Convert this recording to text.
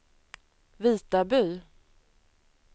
Vitaby